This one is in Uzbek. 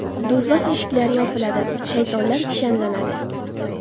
Do‘zax eshiklari yopiladi, shaytonlar kishanlanadi.